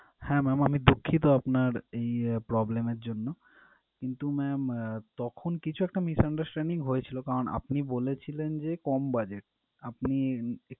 হ্যা ma'am আমি দুঃখিত আপনার এই problem এর জন্যে কিন্তু ma'am তখন কিছু একটা misunderstanding হয়েছিল কারণ আপনি বলেছিলেন যে কম budget আপনি